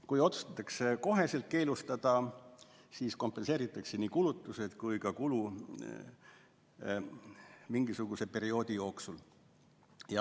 Kui otsustatakse need otsekohe keelustada, siis kompenseeritakse nii kulutused kui ka kulu mingisuguse perioodi jooksul.